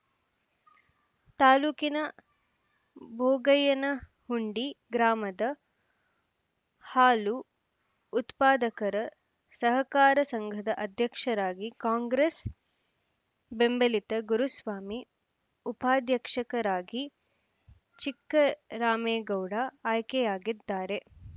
ತಾಲೂಕಿನ ಭೋಗಯ್ಯನ ಹುಂಡಿ ಗ್ರಾಮದ ಹಾಲು ಉತ್ಪಾದಕರ ಸಹಕಾರ ಸಂಘದ ಅಧ್ಯಕ್ಷರಾಗಿ ಕಾಂಗ್ರೆಸ್‌ ಬೆಂಬಲಿತ ಗುರುಸ್ವಾಮಿ ಉಪಾಧ್ಯಕ್ಷಕರಾಗಿ ಚಿಕ್ಕರಾಮೇಗೌಡ ಆಯ್ಕೆಯಾಗಿದ್ದಾರೆ